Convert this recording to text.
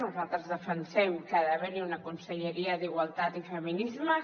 nosaltres defensem que ha d’haver hi una conselleria d’igualtat i feminismes